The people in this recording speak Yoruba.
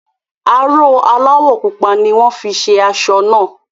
Aró aláwọ̀ pupa ni wọ́n fi ṣe aṣọ náà.